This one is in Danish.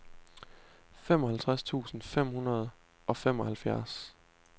femoghalvtreds tusind fem hundrede og femoghalvfjerds